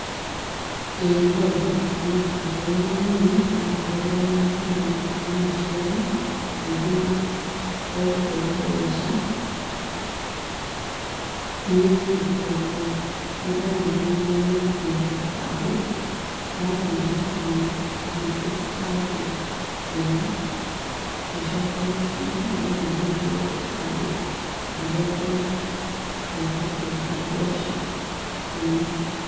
ĩĩ nondirikane, ndarĩ mũnini, nadahũthagĩra thimũ ya mũciari, akĩndũma ngarute mbece thiĩ ndĩmũtwarire. Nĩndariganĩirwo nĩ gũkua kĩbande, ndathiĩ ndakinya , ngĩtio kĩbande, ngĩaga , ngĩcoka mũciĩ nĩgetha thiĩ ngĩre kĩbande, ngĩnengerwo, ngĩũka ngĩruta mbeca ngĩinũka.